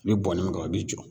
I be bɔnni min kɛ a bi jɔ.